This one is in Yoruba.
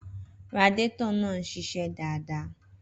Radiator náà ń ṣiṣẹ́ dáadáa.